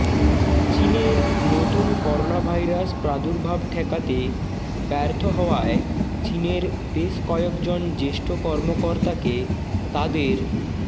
চীনের নতুন করোনাভাইরাস প্রার্দুভাব ঠেকাতে ব্যর্থ হওয়ায় চীনের বেশ কয়েকজন জ্যেষ্ঠ কর্মকর্তাকে তাদের